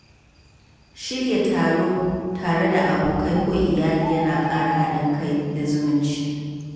Shirya taro tare da abokai ko iyali yana ƙara haɗin kai da zumunci.